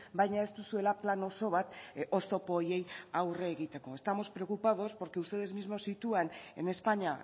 baina ez duzuela plan oso bat oztopo horiei aurre egiteko estamos preocupados porque ustedes mismos sitúan en españa